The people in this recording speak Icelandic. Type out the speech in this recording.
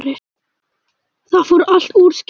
Það fór allt úrskeiðis